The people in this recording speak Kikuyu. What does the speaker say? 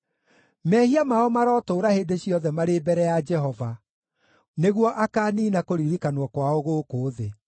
Mehia mao marotũũra hĩndĩ ciothe marĩ mbere ya Jehova, nĩguo akaaniina kũririkanwo kwao gũkũ thĩ.